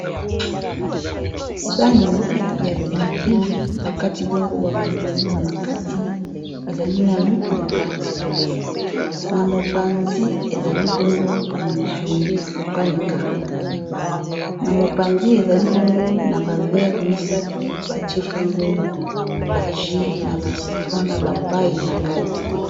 sani ya pilipile bakati bongo ba matungulu na kati ezali na lutu na kati na mopanzi ezali bongo na misuni ya kokalinga na mopanzi ezali bongo na bavere misato batie bongo ba jus na ba citron na ba pailles na kati.